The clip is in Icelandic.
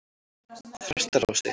Þrastarási